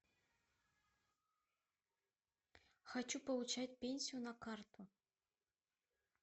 хочу получать пенсию на карту